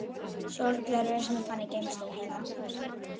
Allt í einu undarleg tilfinning í brjóstinu.